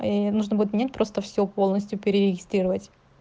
ээ нужно будет нет просто все полностью перерегистрировать